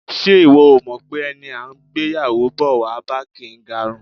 Ṣé ìwọ ò mọ̀ pé ẹni à ń gbéyàwó bọ̀ wá bá kì í garùn?